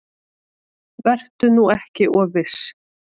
Vertu nú ekki of viss.